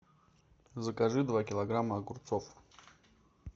закажи два килограмма огурцов